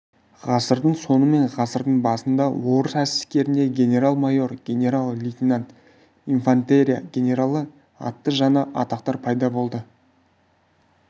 ғасырдың соңы мен ғасырдың басында орыс әскерінде генерал-майор генерал-лейтенант инфантерия-генералы атты жаңа атақтар пайда болды